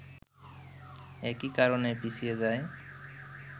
একই কারণে পিছিয়ে যায়